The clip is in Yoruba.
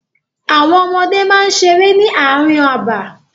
Àwọn ọmọdé máa ń seré ní àárín abà.